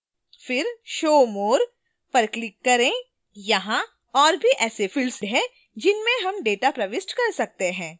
फिर show more…पर click करें यहाँ और भी ऐसे fields हैं जिनमें हम data प्रविष्ट कर सकते हैं